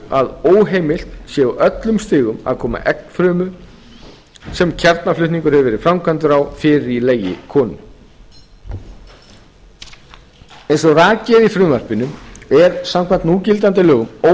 að óheimilt sé á öllum stigum að koma eggfrumu sem kjarnaflutningur hefur verið framkvæmdur á fyrir í legi konu eins og rakið er í frumvarpinu er samkvæmt núgildandi lögum